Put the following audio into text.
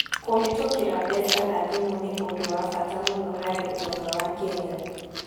Kũhĩtũkĩra mbeca na thimũ nĩ ũndũ wa bata mũno harĩ ũtonga wa Kenya.